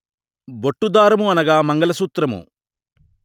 బొట్టుదారము అనగా మంగళసూత్రము